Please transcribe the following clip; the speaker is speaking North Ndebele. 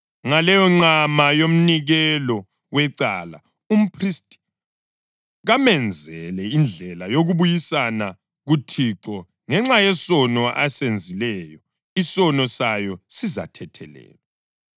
Ngaleyonqama yomnikelo wecala, umphristi kamenzele indlela yokubuyisana kuThixo ngenxa yesono esenzileyo. Isono sayo sizathethelelwa.